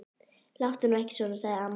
Láttu nú ekki svona. sagði amma.